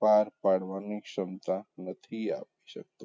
પાર પાડવાની ક્ષમતા નથી આપી શકતું.